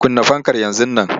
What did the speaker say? Kunna fankar yanzu nan!